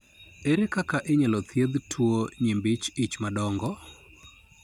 Ere kaka inyalo thiedh tuwo nyimbi ich madongo ?